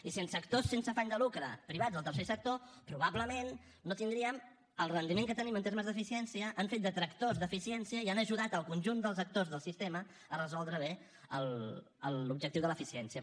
i sense actors sense afany de lucre privats al tercer sector probablement no tindríem el rendiment que tenim en termes d’eficiència han fet de tractors d’eficiència i han ajudat el conjunt dels actors del sistema a resoldre bé l’objectiu de l’eficiència